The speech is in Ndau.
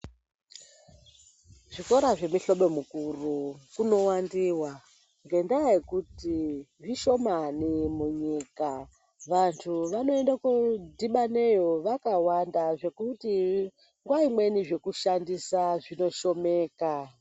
Zvikora zvemuhlobo mukuru kunowandiwa ngendaa yekuti zvishomani munyika . Vantu vanoende kodhibaneyo vakawanda zvekuti nguwa imweni zvekushandisa zvinoshomeka.